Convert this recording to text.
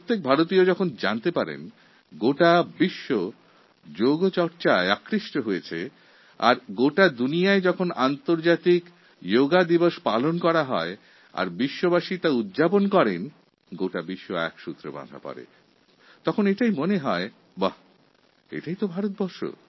প্রতিটি ভারতবাসী যখন জানতে পারল যে সমগ্র বিশ্ব যোগ ব্যায়ামের প্রতি আকর্ষিত হয়েছে এবং যখন আন্তর্জাতিক যোগ দিবস পালনের মাধ্যমে বিশ্বের সমস্ত দেশ একজোট হল তখন আমাদের বিশ্বাস জন্মালো যে এটাই আমাদের দেশ মহান ভারতবর্ষ